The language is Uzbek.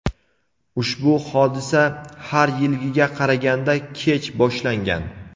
ushbu hodisa har yilgiga qaraganda kech boshlangan.